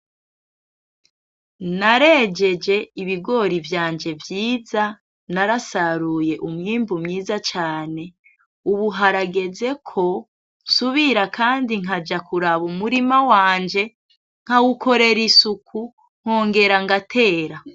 Narejeje ibigori vyanje vyiza, narasaruye umwimbu mwiza cane. Ubu harageze ko nsubira kandi nkaja kuraba umurima wanje nkawukorera isuku nkongera ngatera.